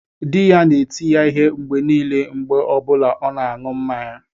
Di ya na-eti ya ihe mgbe niile mgbe ọ bụla ọ na-aṅụ mmanya